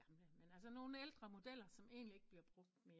Ikke gamle med ældre modeller som egentlig ikke bliver brugt mere